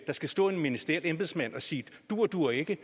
skal stå en ministeriel embedsmand og sige duer duer ikke